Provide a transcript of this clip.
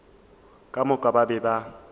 ka moka ba be ba